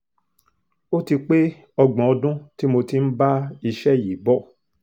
ó ti pé ọgbọ̀n ọdún tí mo ti ń bá iṣẹ́ yìí bọ̀